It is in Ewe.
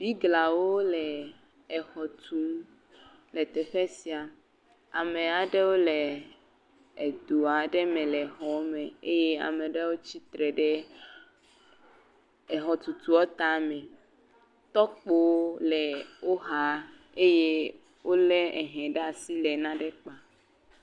Biglawo le exɔ tum le teƒe sia, ame aɖewo le edo aɖe me le exɔa me eye ame aɖewo tsi tre ɖe exɔ tutua tame, tɔkpowo le wo xa eye wolé ehe ɖe asi le nane kpam.